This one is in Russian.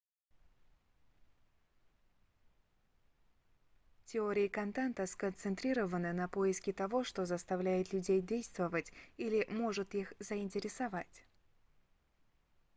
теории контента сконцентрированы на поиске того что заставляет людей действовать или может их заинтересовать